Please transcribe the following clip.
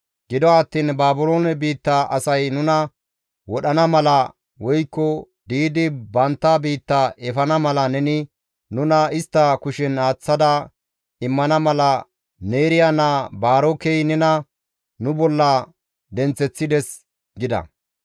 Gido attiin Baabiloone biitta asay nuna wodhana mala woykko di7idi bantta biitta efana mala neni nuna istta kushen aaththada immana mala Neeriya naa Baarokey nena nu bolla denththeththides» gida.